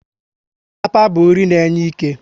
Osikapa bụ nri na e nye ike